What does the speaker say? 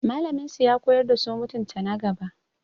Mallamin su ya koyar da su mutunta na gaba.